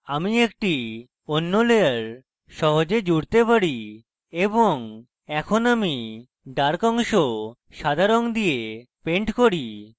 আমি একটি অন্য layer সহজে জুড়তে পারি এবং এখন আমি dark অংশ সাদা রঙ দিয়ে paint করি